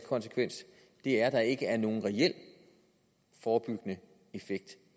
konsekvens er at der ikke vil være nogen reel forebyggende effekt